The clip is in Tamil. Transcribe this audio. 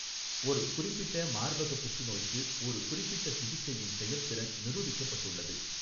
ஒரு குறிப்பிட்ட மார்பக புற்றுநோய்க்கு ஒரு குறிப்பிட்ட சிகிச்சையின் செயல்திறன் நிரூபிக்கப்பட்டுள்ளது.